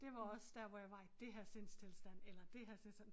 Det var også der hvor jeg var i det her sindstilstand eller det her tilstand